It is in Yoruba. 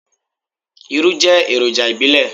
Irú jẹ́ èròjà ìbílẹ̀.